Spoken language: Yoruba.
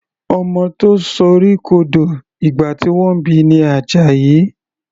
Ọmọ tó sorí kodò ìgbà tí wọ́n bi ni Àjàyí.